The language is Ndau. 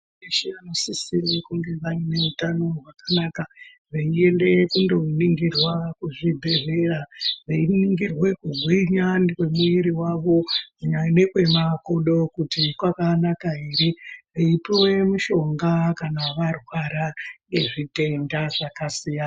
Vana veshe vanosisire kunge vane utano hwakanaka veiende kundoningirwa kuzvibhedhleya, veiningirwe kugwinya ngemwiri wavo kunyanya nekwe makodo kuti kwakanaka ere, eipuwe mushonga kana varwara ngezvitenda zvakasiyana.